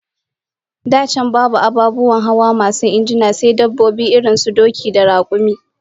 Da can babu ababen hawa masu injina, sai dabbobi irin su doki da rakumi